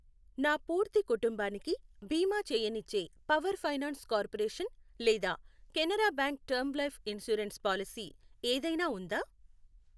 నా పూర్తి కుటుంబానికి బీమా చేయనిచ్చే పవర్ ఫైనాన్స్ కార్పొరేషన్ లేదా Canara bank term life insurance policy ఏదైనా ఉందా?